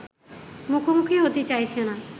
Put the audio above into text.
মুখোমুখি হতে চাইছে না